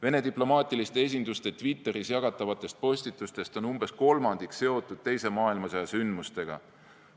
Vene diplomaatiliste esinduste Twitteris jagatavatest postitustest on umbes kolmandik seotud teise maailmasõja sündmustega.